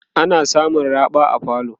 ana samun nauran raɓa a falo